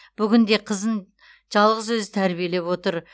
бүгінде қызын жалғыз өзі тәрбиелеп отыр